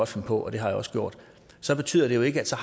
finde på og det har jeg også gjort så betyder det jo ikke at så